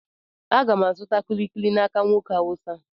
Aga m azụta kulikuli n'aka nwoke Hausa.